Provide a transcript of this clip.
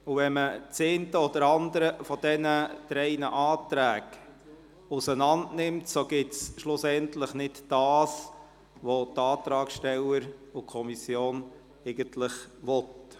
Würde das eine oder andere aus den drei Anträgen auseinanderdividiert, wäre es nicht mehr das, was die Antragssteller und die Kommission eigentlich wollen.